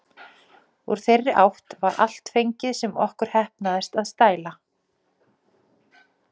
Úr þeirri átt var allt fengið, sem okkur heppnaðist að stæla.